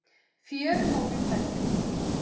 Fjörumórinn bendir til